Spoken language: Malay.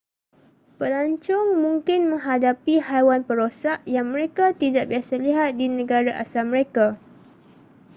pelancong mungkin menghadapi haiwan perosak yang mereka tidak biasa lihat di negara asal mereka